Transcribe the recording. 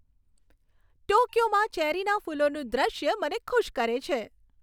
ટોક્યોમાં ચેરીના ફૂલોનું દ્રશ્ય મને ખુશ કરે છે.